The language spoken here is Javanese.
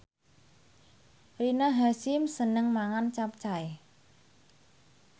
Rina Hasyim seneng mangan capcay